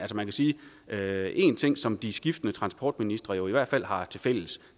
man sige at én ting som de skiftende transportministere jo i hvert fald har haft tilfælles